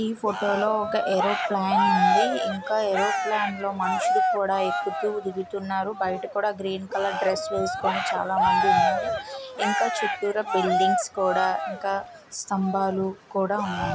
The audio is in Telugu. ఈ ఫోటో లో ఏ రో ప్ లైన్ ఉందని ఇంకా రో ప్లాన్డ్ మనుష్యులు కూడా కక్కుతూ తిరుగుతున్నది బయట కూడా గ్రీన్ కలర్ అడ్రెస్ వేసుకొని చాలా మంది ఉన్నారు ఇంకా చుట్టూ ర బిల్డింగ్ కూడా ఇంక స్తంభాలు కూడా సన్నాయి.